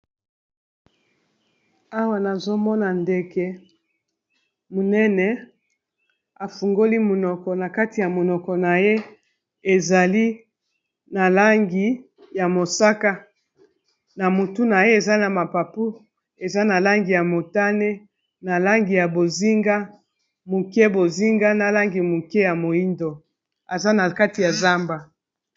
awa nazomona ndege monene afungoli monoko na kati ya monoko na ye ezali na langi ya mosaka na motu na ye eza na mapapu eza na langi ya motane na langi ya bozinga moke bozinga na langi moke ya moindo eza na kati ya zamba